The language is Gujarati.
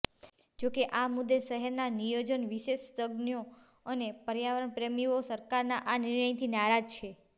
જો કે આ મુદે શહેરના નિયોજન વિશેષજ્ઞાો અને પર્યાવરણપ્રેમીઓ સરકારના આ નિર્ણયથી નારાજ છે